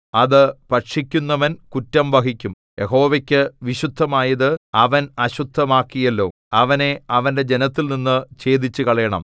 അത് ഭക്ഷിക്കുന്നവൻ കുറ്റം വഹിക്കും യഹോവയ്ക്കു വിശുദ്ധമായത് അവൻ അശുദ്ധമാക്കിയല്ലോ അവനെ അവന്റെ ജനത്തിൽനിന്നു ഛേദിച്ചുകളയണം